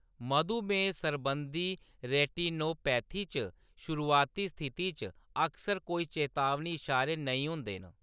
मधुमेह सरबंधी रेटिनोपैथी च शुरुआती स्थिति च अक्सर कोई चेतावनी इशारे नेईं होंदे न।